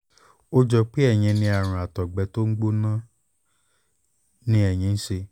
ó jọ pé ẹ̀yin ní àrùn àtọ̀gbẹ́ tó ń gbóná ni ẹ̀yin ń ṣe